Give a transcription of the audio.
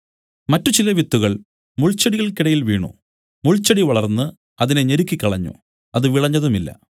മറ്റു ചില വിത്തുകൾ മുൾച്ചെടികൾക്കിടയിൽ വീണു മുൾച്ചെടി വളർന്ന് അതിനെ ഞെരുക്കിക്കളഞ്ഞു അത് വിളഞ്ഞതുമില്ല